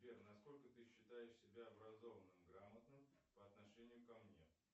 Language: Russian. сбер на сколько ты считаешь себя образованным грамотным по отношению ко мне